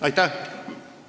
Aitäh!